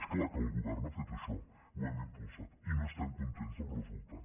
és clar que el govern ha fet això ho hem impulsat i no estem contents del resultat